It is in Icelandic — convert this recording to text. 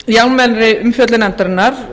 í almennri umfjöllun nefndarinnar